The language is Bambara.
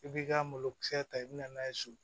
I b'i ka malokisɛ ta i bɛ na n'a ye so